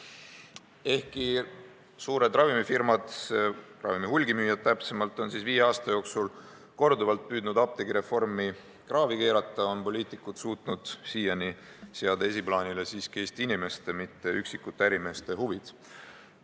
Ehkki suured ravimifirmad, täpsemalt öeldes ravimite hulgimüüjad, on viie aasta jooksul korduvalt püüdnud apteegireformi kraavi keerata, on poliitikud suutnud siiani seada esiplaanile siiski Eesti inimeste, mitte üksikute ärimeeste huvid.